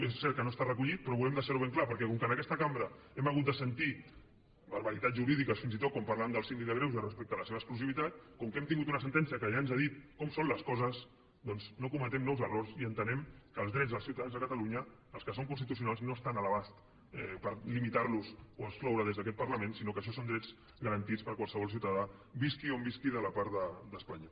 és cert que no està recollit però volem deixar ho ben clar perquè com que en aquesta cambra hem hagut de sentir barbaritats jurídiques fins i tot quan parlàvem del síndic de greuges respecte a la seva exclusivitat com que hem tingut una sentència que ja ens ha dit com són les coses doncs no cometem nous errors i entenem que els drets dels ciutadans de catalunya els que són constitucionals no estan a l’abast per limitar los o excloure des d’aquest parlament sinó que això són drets garantits per a qualsevol ciutadà visqui on visqui de la part d’espanya